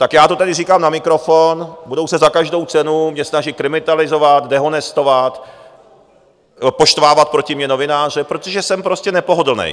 Tak já to tady říkám na mikrofon: Budou se za každou cenu mě snažit kriminalizovat, dehonestovat, poštvávat proti mně novináře, protože jsem prostě nepohodlný.